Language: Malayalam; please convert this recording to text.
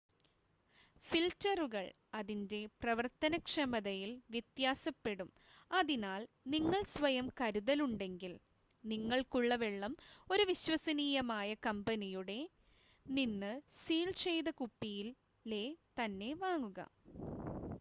ഫിൽറ്ററുകൾ അതിൻ്റെ പ്രവർത്തനക്ഷമതയിൽ വ്യത്യാസപ്പെടും അതിനാൽ നിങ്ങൾക്ക് സ്വയം കരുതലുണ്ടെങ്കിൽ നിങ്ങൾക്കുള്ള വെള്ളം ഒരു വിശ്വസനീയമായ കമ്പനിയുടെ നിന്ന് സീൽ ചെയ്ത കുപ്പിയിലെ തന്നെ വാങ്ങുക